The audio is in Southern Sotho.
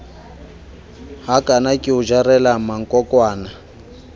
hakana ke o jarela mankokwana